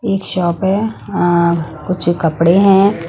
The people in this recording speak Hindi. एक शॉप है अं कुछ कपड़े हैं।